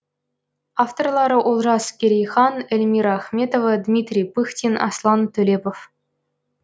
авторлары олжас керейхан эльмира ахметова дмитрий пыхтин аслан төлепов